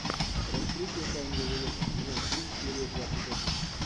раскрытие тайн вавилона сезон три серия двадцать один